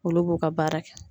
Olu b'u ka baara kɛ